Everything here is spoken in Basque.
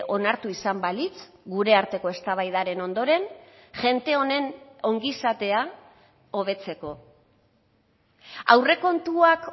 onartu izan balitz gure arteko eztabaidaren ondoren jende honen ongizatea hobetzeko aurrekontuak